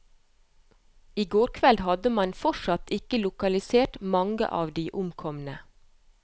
I går kveld hadde man fortsatt ikke lokalisert mange av de omkomne.